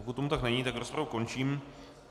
Pokud tomu tak není, tak rozpravu končím.